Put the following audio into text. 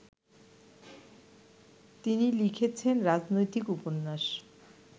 তিনি লিখেছেন রাজনৈতিক উপন্যাস